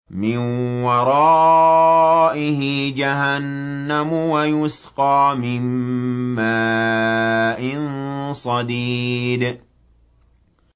مِّن وَرَائِهِ جَهَنَّمُ وَيُسْقَىٰ مِن مَّاءٍ صَدِيدٍ